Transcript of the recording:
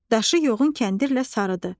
Daşı yoğun kəndirlə sarıdı.